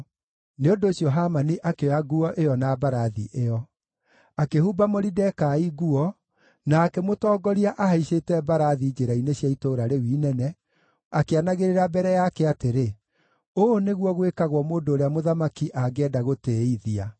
Nĩ ũndũ ũcio Hamani akĩoya nguo ĩyo na mbarathi ĩyo. Akĩhumba Moridekai nguo, na akĩmũtongoria ahaicĩte mbarathi njĩra-inĩ cia itũũra rĩu inene, akĩanagĩrĩra mbere yake atĩrĩ, “Ũũ nĩguo gwĩkagwo mũndũ ũrĩa mũthamaki angĩenda gũtĩĩithia!”